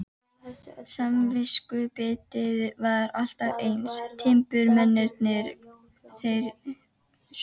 Samviskubitið var alltaf eins, timburmennirnir þeir sömu.